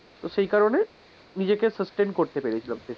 তো সেই কারণে নিজেকে sustain করতে পেরেছিলাম সেই সময়টাই,